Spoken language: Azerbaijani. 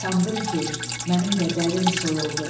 Sandım ki, mənim də dərim soyuldu.